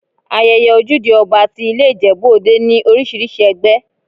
Ayẹyẹ Ojúde Ọba ti i ilé Ìjẹ̀bú Òde ní oríṣiríṣi ẹgbẹ́.